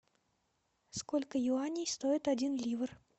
сколько юаней стоит один ливр